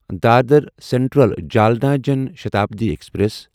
Dadar central Jalna Jan Shatabdi express